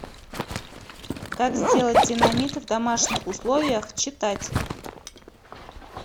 как сделать динамит в домашних условиях читать